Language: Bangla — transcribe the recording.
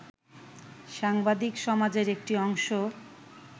সাংবাদিক সমাজের একটি অংশ